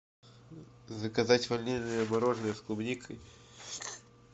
заказать ванильное мороженое с клубникой